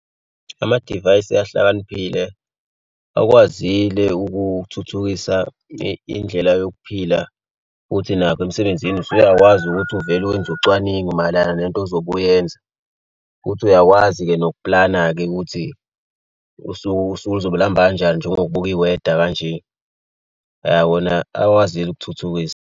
Amadivayisi ahlakaniphile bakwazile ukuthuthukisa indlela yokuphila futhi nakho emsebenzini usuyakwazi ukuthi uvele wenze ucwaningo mayelana nento ozobe uyenza. Futhi uyakwazi-ke nokuplana-ke ukuthi usuku usuku lizobe luhamba kanjani njengokubuka iweda kanje. Ya, wona akwazile ukuthuthukisa.